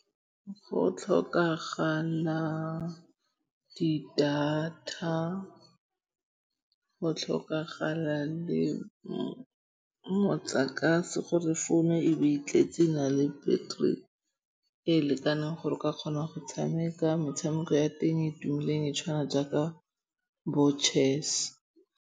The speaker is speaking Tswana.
Go tlhokagala di data. Ggo tlhokagala le motlakase gore phone e be e tletse e na le battery e e lekaneng gore o ka kgona go tshameka metshameko ya teng e tumileng e tshwana jaaka bo chess.